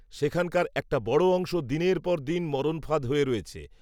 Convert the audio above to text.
সেখানকার একটা বড় অংশ দিনের পর দিন, মরণফাঁদ হয়ে রয়েছে